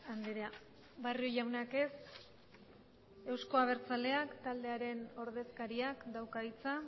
andrea barrio jaunak ez euzko abertzaleak taldearen ordezkariak dauka hitza